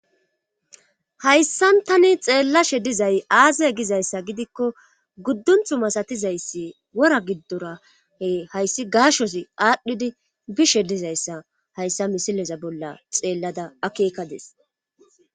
Hayssan tani xeellashe dizay aaze gizayssa gidikko guddunthu masatizayssi wora giddorahe hayssi gaashozi aadhdhidi bishe dizayssa hayssa misileza bolla xeellada akeekadis.